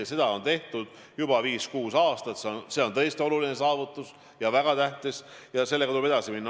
Ja seda on tehtud juba viis-kuus aastat, see on tõesti oluline, väga tähtis saavutus ja sellega tuleb edasi minna.